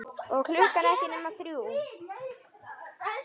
Og klukkan ekki nema þrjú.